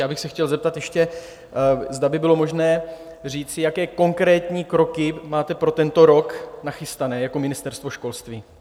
Já bych se chtěl zeptat ještě, zda by bylo možné říci, jaké konkrétní kroky máte pro tento rok nachystané jako Ministerstvo školství.